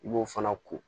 I b'o fana ko